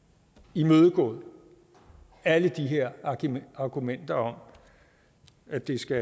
imødegået alle de her argumenter om at det skal